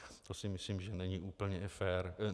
To si myslím, že není úplně fér.